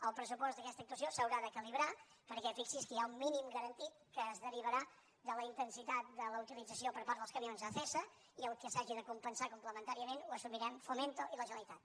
el pressupost d’aquesta actuació s’haurà de calibrar perquè fixi’s que hi ha un mínim garantit que es derivarà de la intensitat de la utilització per part dels camions a acesa i el que s’hagi de compensar complementàriament ho assumirem fomento i la generalitat